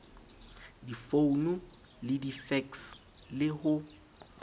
difounu le difekse le ho